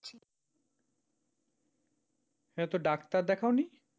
এতে ডাক্তার দেখাও নি?